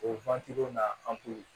O na